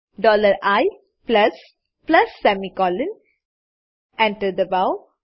dollar I plus plus semicolon enter દબાવો